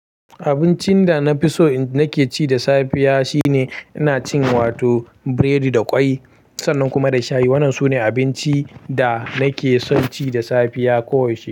Abincin da na fi so nake ci da safiya shine ina cin wato biredi da kwai sannan kuma da shayi. Wannan sune abinci da nake son ci da safiya koyaushe.